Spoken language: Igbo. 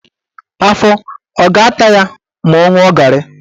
Afọ a ga-ata ya ma ọ ṅụọ garị?